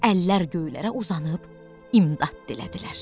Əllər göylərə uzanıb imdad dilədilər.